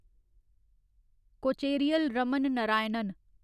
Kocheril Raman Narayanan